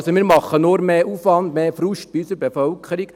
Also: Wir machen nur mehr Aufwand, mehr Frust bei unserer Bevölkerung.